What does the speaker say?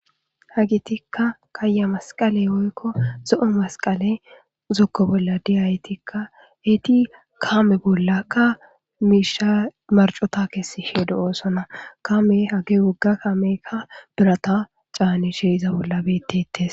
Hagitikka kaya masqaley oykko zo7o masqale zokko bolla de7izatikka eeti kame bollaka miisha marcota kessishe de7oosonna kame hage wogga kaameykka birata caanishe iza bolla betettes.